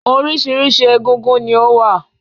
Oríṣiríṣi egúngún ni ó wà